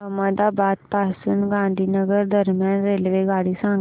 अहमदाबाद पासून गांधीनगर दरम्यान रेल्वेगाडी सांगा